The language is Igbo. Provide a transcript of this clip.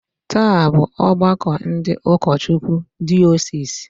Taa bụ ọgbakọ ndị ụkọchukwu diosisi